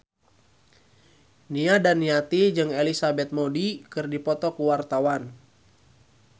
Nia Daniati jeung Elizabeth Moody keur dipoto ku wartawan